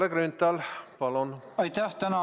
Kalle Grünthal, palun!